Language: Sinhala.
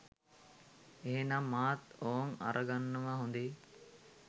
එහෙනම් මාත් ඕං අරගන්නවා හොඳේ